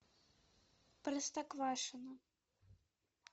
простоквашино